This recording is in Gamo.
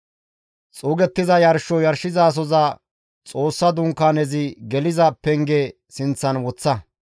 «Xuugettiza yarsho yarshizasoza Xoossa Dunkaanezi geliza penge sinththan woththa.